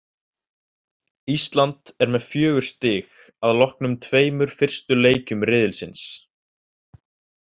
Ísland er með fjögur stig að loknum tveimur fyrstu leikjum riðilsins.